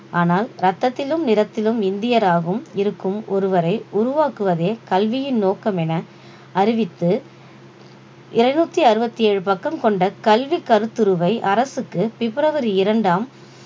ஆனால் ரத்தத்திலும் நிறத்திலும் இந்தியராகவும் இருக்கும் ஒருவரை உருவாக்குவதே கல்வியின் நோக்கம் என அறிவித்து இருநூத்தி அறுபத்தி ஏழு பக்கம் கொண்ட கல்வி கருத்துருவை அரசுக்கு பிப்ரவரி இரண்டாம்